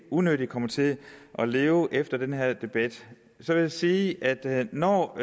unødigt kommer til at leve efter den her debat jeg vil sige at når